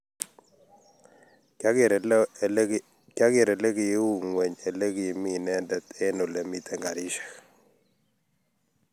kiyageer oleiu ngweny olegimi inendet eng olemiten karishek